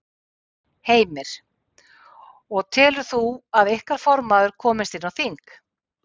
Heimir: Og telur þú að ykkar formaður komist inn á þing?